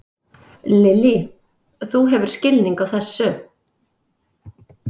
Lillý: Þú hefur skilning á þessu?